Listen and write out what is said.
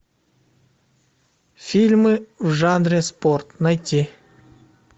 фильмы в жанре спорт найти